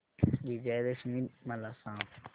विजयादशमी मला सांग